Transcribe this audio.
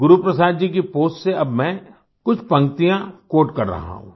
गुरुप्रसाद जी की पोस्ट से अब मैं कुछ पंक्तियाँ क्वोट कर रहा हूँ